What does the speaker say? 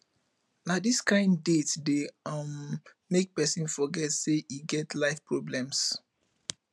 na dis kain date dey um make pesin forget sey e get life problems